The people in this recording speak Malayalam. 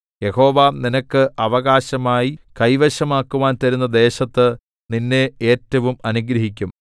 യഹോവ നിനക്ക് അവകാശമായി കൈവശമാക്കുവാൻ തരുന്ന ദേശത്ത് നിന്നെ ഏറ്റവും അനുഗ്രഹിക്കും